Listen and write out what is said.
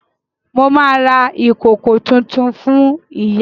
Mo ma ra ìkòkò tuntun fún ìyá